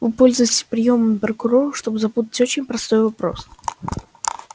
вы пользуетесь приёмами прокурора чтобы запутать очень простой вопрос